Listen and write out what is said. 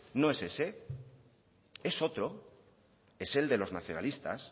no es ese es otro es el de los nacionalistas